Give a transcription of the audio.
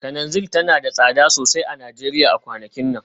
Kananzir tana da tsada sosai a Najeriya a kwanakin nan